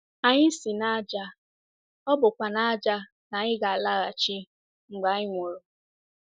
Anyị si n’ájá, ọ bụkwa n’ájá ka anyị ga - alaghachi mgbe anyị nwụrụ.